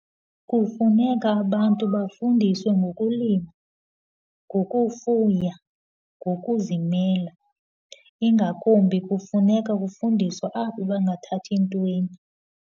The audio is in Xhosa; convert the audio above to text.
Kufuneka abantu bafundiswe ngokulima, ngokufuya, ngokuzimela. Ingakumbi, kufuneka ukufundiswe abo bangathathi ntweni.